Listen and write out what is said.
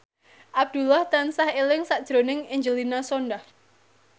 Abdullah tansah eling sakjroning Angelina Sondakh